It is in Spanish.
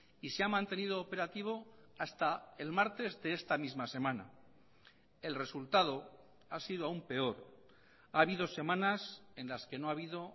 y se ha mantenido operativo hasta el martes de esta misma semana el resultado ha sido aún peor ha habido semanas en las que no ha habido